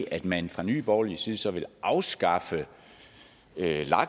at man fra nye borgerliges side så vil afskaffe lag